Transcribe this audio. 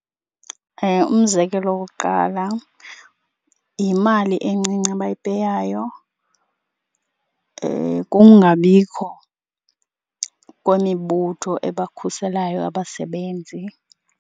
Umzekelo wokokuqala yimali encinci abayipeyayo. Kungabikho kwemibutho ebakhuselayo abasebenzi.